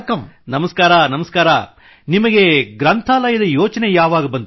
ವಣಕ್ಕಂ ವಣಕ್ಕಂ ನಿಮಗೆ ಗ್ರಂಥಾಲಯದ ಯೋಚನೆ ಯಾವಾಗ ಬಂತು